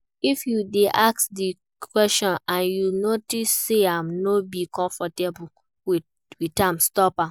If you de ask di question and you notice say im no de confortable with am stop am